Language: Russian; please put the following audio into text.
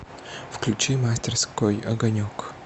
включи мастерской огонек